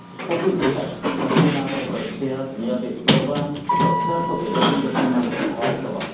Pokud by takový návrh byl přijat, měl bych problém pro celkově dobrý dokument hlasovat.